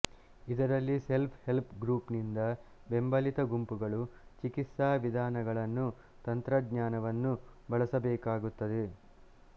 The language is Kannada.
ಇದರಲ್ಲಿ ಸೆಲ್ಫ್ ಹೆಲ್ಪ್ ಗ್ರುಪ್ ನಿಂದ ಬೆಂಬಲಿತ ಗುಂಪುಗಳು ಚಿಕಿತ್ಸಾ ವಿಧಾನಗಳನ್ನು ತಂತ್ರಜ್ಞಾನವನ್ನು ಬಳಸಬೇಕಾಗುತ್ತದೆ